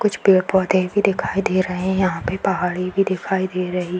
कुछ पेड़-पौधे भी दिखाई दे रहें हैं। यहाँ पे पहाड़ी भी दिखाई दे रही --